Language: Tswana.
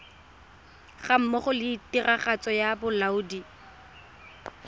gammogo le tiragatso ya bolaodi